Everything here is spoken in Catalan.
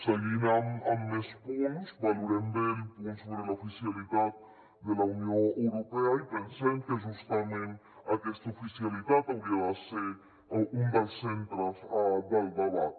seguint amb més punts valorem bé el punt sobre l’oficialitat de la unió europea i pensem que justament aquesta oficialitat hauria de ser un dels centres del debat